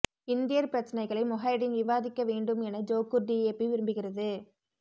இந்தியர் பிரச்னைகளை முஹைடின் விவாதிக்க வேண்டும் என ஜோகூர் டிஏபி விரும்புகிறது